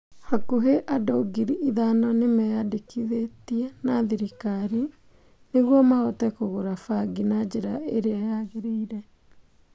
Hakũhi andũ ngiri ithano nĩ mĩandĩkithĩtie na thirikari. Nĩguo mahote kũgũra bangi na njĩra ĩrĩa yagĩrĩire.